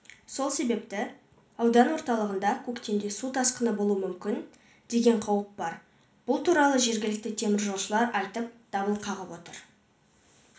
сол себепті аудан орталығында көктемде су тасқыны болуы мүмкін деген қауіп бар бұл туралы жергілікті теміржолшылар айтып дабыл қағып отыр